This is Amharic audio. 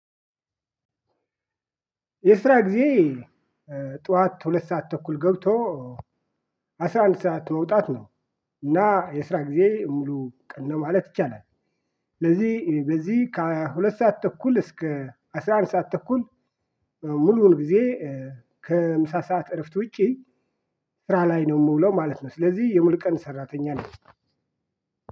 የስራ ጊዜዬ ጧት ሁለት ሰዓት ተኩል ገብቶ አስራ አንድ ሰዓት መውጣት ነው እና የስራ ጊዜ ሙሉ ቀን ነው ማለት ይቻላል። ስለዚህ በዚህ ከሁለት ሰዓት ተኩል እስከ አስራ አንድ ሰዓት ተኩል ሙሉውን ጊዜ ከምሳ ሰዓት እረፍት ውጪ ስራ ላይ ነው የምውለው ማለት ነው። ስለዚህ የሙሉ ቀን ሰራተኛ ነኝ።